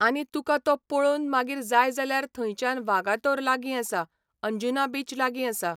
आनी तुका तो पळोवून मागीर जाय जाल्यार थंयच्यान वागातोर लागीं आसा, अंजुना बीच लागीं आसा.